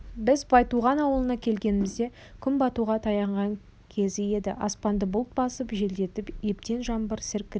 біз байтуған ауылына келгенімізде күн батуға таянған кезі еді аспанды бұлт басып желдетіп ептеп жаңбыр сіркіреп